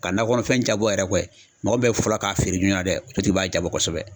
Ka nakɔ kɔnɔfɛn jabɔ yɛrɛ mɔgɔ min bɛɛ fɔlɔ k'a feere jɔnna dɛ, o tigi b'a jabɔ kosɛbɛ.